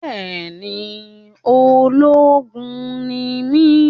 Bẹẹni, ológun ni mi